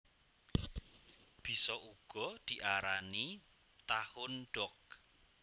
Bisa uga diarani Tahundog